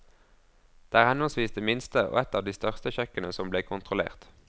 Det er henholdsvis det minste og et av de største kjøkkenene som ble kontrollert.